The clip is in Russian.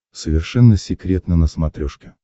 совершенно секретно на смотрешке